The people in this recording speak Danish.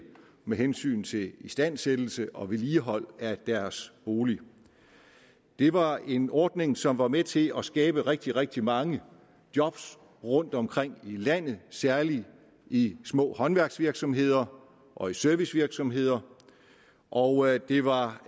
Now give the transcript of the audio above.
med hensyn til istandsættelse og vedligeholdelse af deres bolig det var en ordning som var med til at skabe rigtig rigtig mange job rundtomkring i landet særlig i små håndværksvirksomheder og servicevirksomheder og det var